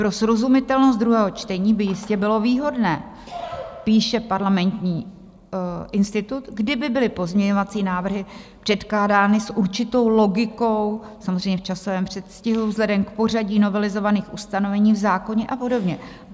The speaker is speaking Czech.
"Pro srozumitelnost druhého čtení by jistě bylo výhodné," píše Parlamentní institut, "kdyby byly pozměňovací návrhy předkládány s určitou logikou, samozřejmě v časovém předstihu vzhledem k pořadí novelizovaných ustanovení v zákoně a podobně."